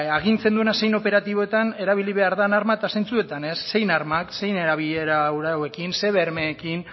agintzen duena zein operatiboetan erabili behar den arma eta zeintzuetan ez zein arma zein erabilerarekin zein bermearekin